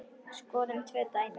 Skoðum tvö dæmi.